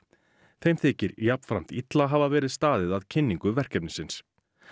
þeim þykir jafnframt illa hafa verið staðið að kynningu verkefnisins